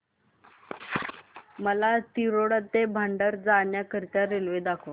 मला तिरोडा ते भंडारा जाण्या करीता रेल्वे दाखवा